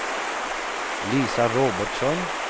Lisa Robertsson